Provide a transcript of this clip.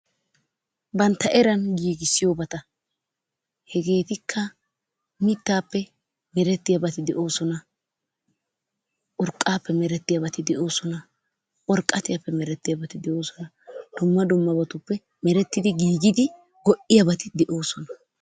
bantta eran giigissiyoobata, hegetikka mittaappe mertiyaabati doosona, urqqappe meretiyaabati doosona, urqqatiyappe meretiyaabati doosona, dumma dummabatuppe merettidi giigidi go''iyaabati doosona.